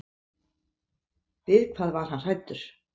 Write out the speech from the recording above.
Við hvað var hann hræddur?